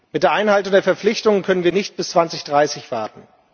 Mit der Einhaltung der Verpflichtung können wir nicht bis 2030 warten.